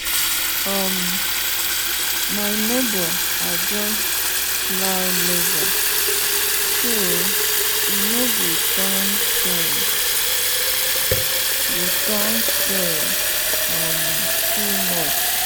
um my neighbor adjust plow lever so e no go turn soil go turn soil um too much.